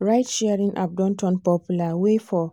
ride-sharing app don turn popular way for